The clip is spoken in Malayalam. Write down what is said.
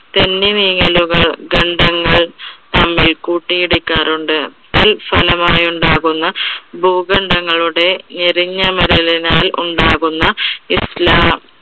തെന്നിനീങ്ങലുകൾ ഗന്ധങ്ങൾ തമ്മിൽ കൂട്ടി ഇടിക്കാറുണ്ട്. തൽഫലമായി ഉണ്ടാകുന്ന ഭുഗന്ധങ്ങളുടെ എരിഞ്ഞ ഉണ്ടാകുന്ന